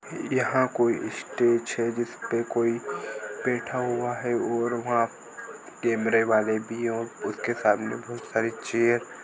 यहाँ कोई स्टेज है जिसपे कोई बैठा हुआ है और वहा कॅमेरेवाले भी है और उसके सामने बहुत सारी चेअर --